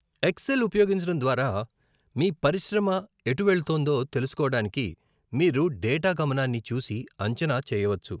XL ఉపయోగించడం ద్వారా, మీ పరిశ్రమ ఎటు వెళుతోందో తెలుసుకోవడానికి మీరు డేటా గమనాన్ని చూసి అంచనా చేయవచ్చు.